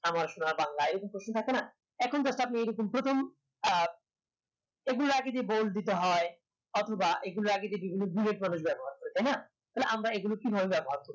আমার সোনার বাংলা এই রকম একটা প্রশ্ন থাকে না এখন সেটা হচ্ছে প্রথম সেগুলোর আগে যে bold দিতে হয় অথবা এই গুলোর আগে যে বিভিন্ন তাই না তাহলে আমরা এই গুলো কিভাবে ব্যবহার করবো